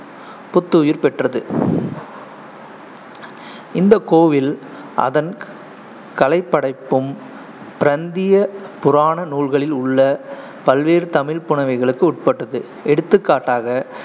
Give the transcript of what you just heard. புத்துயிர் பெற்றது இந்த கோயில் அதன் கலைப்படைப்பும் பிரந்திய புராண நூல்களில் உள்ள பல்வேறு தமிழ் புனவைகளுக்கு உட்பட்டது எடுத்துக்காட்டாக,